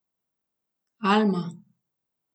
Alma.